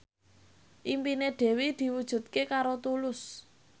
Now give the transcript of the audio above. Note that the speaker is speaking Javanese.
impine Dewi diwujudke karo Tulus